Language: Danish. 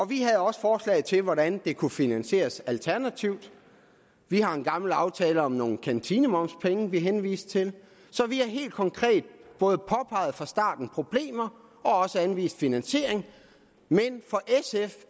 vi havde også forslag til hvordan det kunne finansieres alternativt vi har en gammel aftale om nogle kantinemomspenge som vi henviste til så vi har helt konkret fra starten problemer og anvist finansiering men for sf